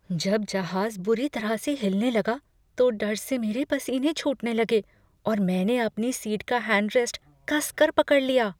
जब जहाज बुरी तरह से हिलने लगा तो डर से मेरे पसीने छूटने लगे और मैंने अपनी सीट का हैंड रेस्ट कस कर पकड़ लिया।